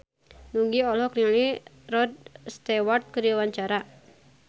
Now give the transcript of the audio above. Nugie olohok ningali Rod Stewart keur diwawancara